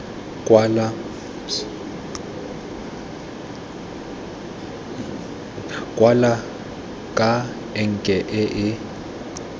kwala ka enke e e